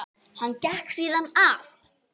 Hann gekk síðan að